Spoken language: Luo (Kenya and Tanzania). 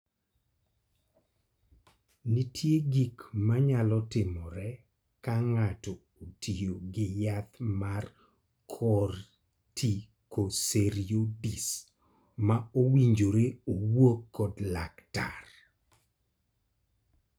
Nitie gik ma nyalo timore ka ng�ato otiyo gi yath mar corticosteriods ma owinjore owuo kod laktar.